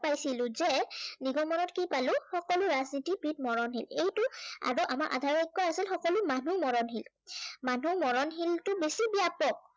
পাইছিলো যে নিগমনত কি পালো সকলো ৰাজনীতিবীদ মৰণশীল। এইটো আগৰ আমাৰ আধাৰত কি আছিল, সকলো মানুহ মৰণশীল। মানুহ মৰণশীলটো বেছি ব্য়াপক।